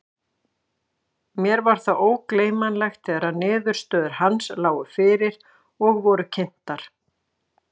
Mér er það ógleymanlegt þegar niðurstöður hans lágu fyrir og voru kynntar.